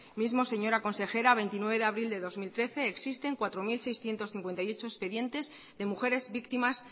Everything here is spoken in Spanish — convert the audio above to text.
mismo señora consejera a veintinueve de abril de dos mil trece existen cuatro mil seiscientos cincuenta y ocho expedientes de mujeres víctimas